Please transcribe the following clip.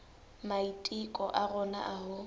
maiteko a rona a ho